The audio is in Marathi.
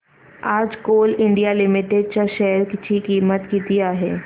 आज कोल इंडिया लिमिटेड च्या शेअर ची किंमत किती आहे